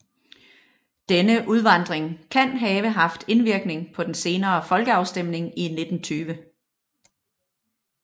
Denne udvandring kan have haft indvirkning på den senere folkeafstemning i 1920